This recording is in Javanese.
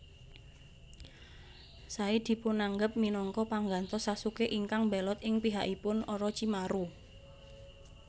Sai dipunanggep minangka panggantos Sasuke ingkang mbelot ing pihakipun Orochimaru